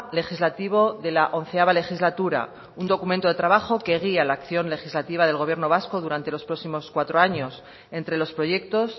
legislativo de la once legislatura un documento de trabajo que guía la acción legislativa del gobierno vasco durante los próximos cuatro años entre los proyectos